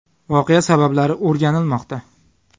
Voqea sabablari o‘rganilmoqda.